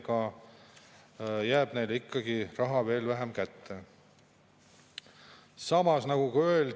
Minu jaoks on ebaloogiline see matemaatiline arvutus, mida rahandusminister teeb, kui ta ütleb, et 10%-line tulumaksu tõus jätab rahvale raha rohkem kätte.